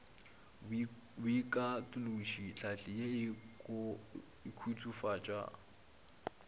boikatološo tlhahli ye e khutsofatša